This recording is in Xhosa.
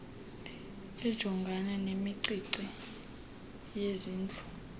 ejongana nemicimbi yezindlu